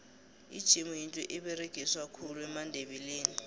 ijemu yinto eberegiswa khulu mandebele